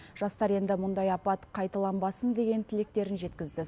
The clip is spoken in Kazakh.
жастар енді мұндай апат қайталанбасын деген тілектерін жеткізді